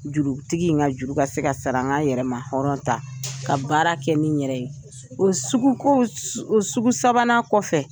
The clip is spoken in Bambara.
Jurutigi in ka juru ka se ka sara an yɛrɛ ma hɔrɔn ta ka baara kɛ ni n yɛrɛ ye o suguko o sugu sabanan kɔfɛ.